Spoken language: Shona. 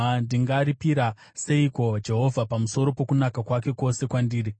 Ndingaripira seiko Jehovha pamusoro pokunaka kwake kwose kwandiri?